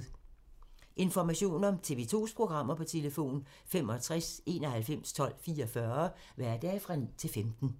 Information om TV 2's programmer: 65 91 12 44, hverdage 9-15.